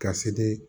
Ka se